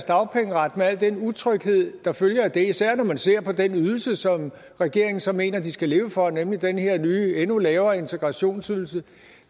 dagpengeret med al den utryghed der følger af det især når man ser på den ydelse som regeringen så mener at de skal leve for nemlig den her nye endnu lavere integrationsydelse